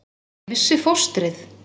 Ætli ég missi fóstrið?